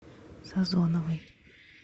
созоновой